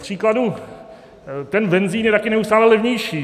Kupříkladu ten benzin je taky neustále levnější.